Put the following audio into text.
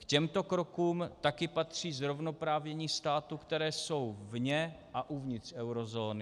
K těmto krokům také patří zrovnoprávnění států, které jsou vně a uvnitř eurozóny.